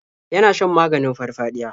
Yana shan maganin farfaɗiya.